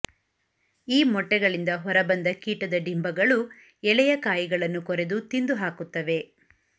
ಈ ಮೊಟ್ಟೆಗಳಿಂದ ಹೊರ ಬಂದ ಕೀಟದ ಡಿಂಭಗಳು ಎಳೆಯ ಕಾಯಿಗಳನ್ನು ಕೊರೆದು ತಿಂದುಹಾಕುತ್ತವೆ